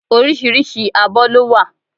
Oríṣiríṣi abọ́ ló wà